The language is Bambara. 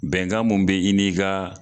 Bɛnkan mun be i ni ka